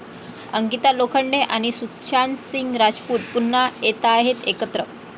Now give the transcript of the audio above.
अंकिता लोखंडे आणि सुशांत सिंग राजपूत पुन्हा येतायत एकत्र